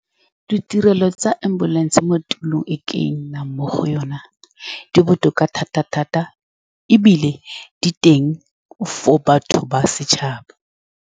Di ditirelo tsa ambulance mo tulong e ke nnang mo go yone di botoka thata-thata, ebile di teng for batho ba setšhaba.